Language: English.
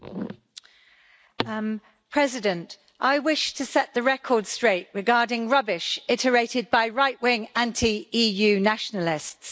Mr President, I wish to set the record straight regarding rubbish iterated by right-wing, anti-EU nationalists.